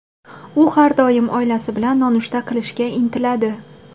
U har doim oilasi bilan nonushta qilishga intiladi.